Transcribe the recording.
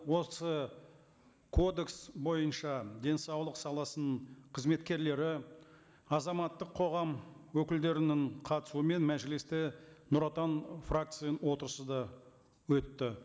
осы кодекс бойынша денсаулық саласының қызметкерлері азаматтық қоғам өкілдерінің қатысуымен мәжілісте нұр отан фракцияның отырысы да өтті